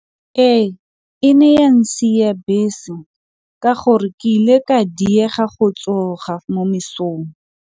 Ee e ne ya ntshiya bese ka gore ke ile ka diega go tsoga mo mesong.